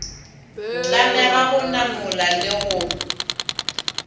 tlamega go namola le go